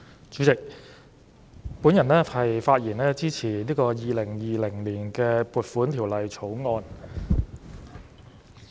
主席，我發言支持《2020年撥款條例草案》。